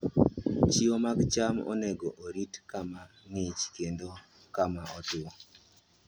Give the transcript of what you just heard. Chiwo mag cham onego orit kama ng'ich kendo kama otwo.